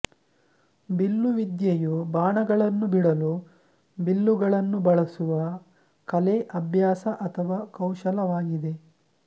ಬಿಲ್ಲುವಿದ್ಯೆಯು ಬಾಣಗಳನ್ನು ಬಿಡಲು ಬಿಲ್ಲುಗಳನ್ನು ಬಳಸುವ ಕಲೆ ಅಭ್ಯಾಸ ಅಥವಾ ಕೌಶಲವಾಗಿದೆ